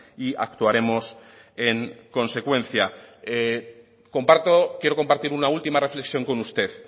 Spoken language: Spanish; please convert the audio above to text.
y actuaremos en consecuencia comparto quiero compartir una última reflexión con usted